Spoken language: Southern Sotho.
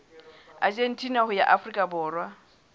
argentina ho ya afrika borwa